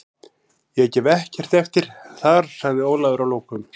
Ég gef ekkert eftir þar, sagði Ólafur að lokum.